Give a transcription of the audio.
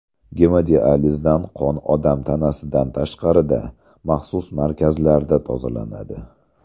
Gemodializda qon odam tanasidan tashqarida, maxsus markazlarda tozalanadi.